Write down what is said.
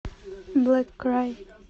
блэк край